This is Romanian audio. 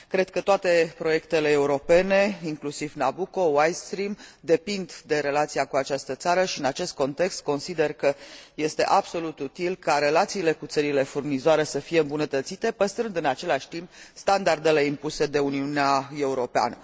Cred că toate proiectele europene, inclusiv Nabucco, White Stream, depind de relația cu această țară și în acest context consider că este absolut util ca relațiile cu țările furnizoare să fie îmbunătățite, păstrând în același timp standardele impuse de Uniunea Europeană.